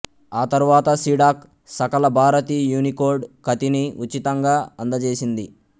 ఆ తరువాత సిడాక్ సకలభారతి యూనికోడ్ ఖతిని ఉచితంగా అందచేసింది